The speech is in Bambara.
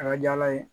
A ka di ala ye